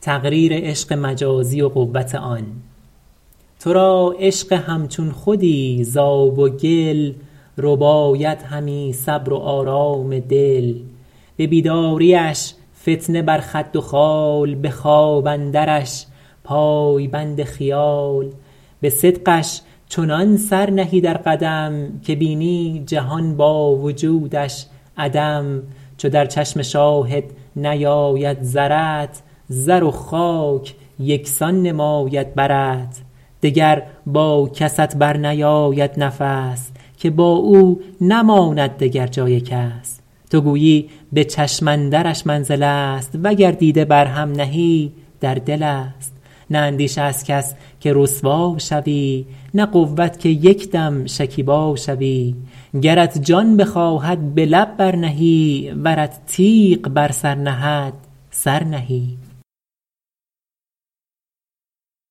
تو را عشق همچون خودی ز آب و گل رباید همی صبر و آرام دل به بیداریش فتنه بر خد و خال به خواب اندرش پای بند خیال به صدقش چنان سر نهی در قدم که بینی جهان با وجودش عدم چو در چشم شاهد نیاید زرت زر و خاک یکسان نماید برت دگر با کست بر نیاید نفس که با او نماند دگر جای کس تو گویی به چشم اندرش منزل است وگر دیده بر هم نهی در دل است نه اندیشه از کس که رسوا شوی نه قوت که یک دم شکیبا شوی گرت جان بخواهد به لب بر نهی ورت تیغ بر سر نهد سر نهی